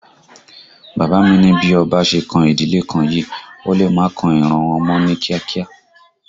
Bàbá mi ni bí ọba ṣe kan ìdílé kan yìí, ó lè má kan ìran wọn mọ́ ní kíá kíá